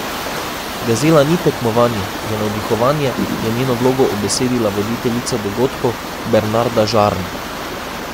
Gazela ni tekmovanje, je navdihovanje, je njeno vlogo ubesedila voditeljica dogodkov Bernarda Žarn.